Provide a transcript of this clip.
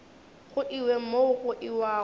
go iwe mo go iwago